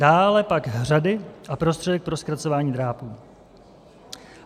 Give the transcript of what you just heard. Dále pak hřady a prostředek pro zkracování drápů.